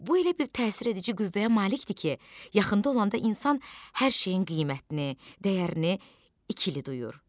Bu elə bir təsir edici qüvvəyə malikdir ki, yaxında olanda insan hər şeyin qiymətini, dəyərini ikili duyur.